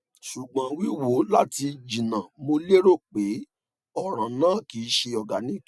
sugbon wiwo lati jina mo lero pe ọran naa kii ṣe organic